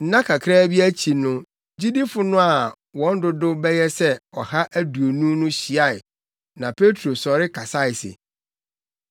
Nna kakraa bi akyi no gyidifo no a wɔn dodow bɛyɛ sɛ ɔha aduonu no hyiae na Petro sɔre kasae se: